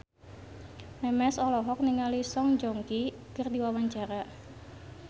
Memes olohok ningali Song Joong Ki keur diwawancara